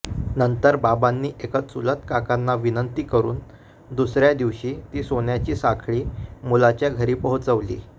नंतर बाबांनी एका चुलत काकांना विनंती करून दुसऱ्या दिवशी ती सोन्याची साखळी मुलाच्या घरी पोहोचवली